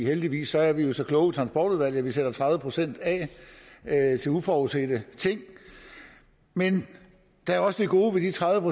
heldigvis er vi jo så kloge i transportudvalget at vi sætter tredive procent af til uforudsete ting men der er også det gode ved de tredive